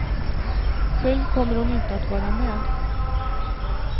Själv kommer hon inte att vara med.